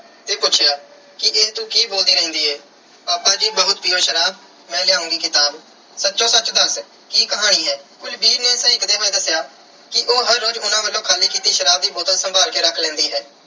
ਤੇ ਪੁੱਛਿਆ ਕਿ ਇਹ ਤੂੰ ਕੀ ਬੋਲਦੀ ਰਹਿੰਦੀ ਏ ਪਾਪਾ ਜੀ ਬਹੁਤ ਪੀਓ ਸ਼ਰਾਬ, ਮੈਂ ਲਿਆਉਂਗੀ ਕਿਤਾਬ। ਸੱਚੋ ਸੱਚ ਦੱਸ ਕੀ ਕਹਾਣੀ ਏ। ਕੁਲਵੀਰ ਨੇ ਸਹਿਕਦੇ ਹੋਏ ਦੱਸਿਆ ਕਿ ਉਹ ਹਰ ਰੋਜ਼ ਉਹਨਾਂ ਵੱਲੋਂ ਖਾਲੀ ਕੀਤੀ ਸ਼ਰਾਬ ਦੀ ਬੋਤਲ ਸੰਭਾਲ ਕੇ ਰੱਖ ਲੈਂਦੀ ਹੈ